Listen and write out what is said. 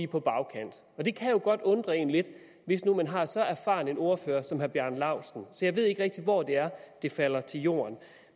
på bagkant og det kan jo godt undre en lidt hvis nu man har så erfaren en ordfører som herre bjarne laustsen så jeg ved ikke rigtig hvor det er det falder til jorden